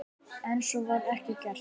En svo var ekki gert.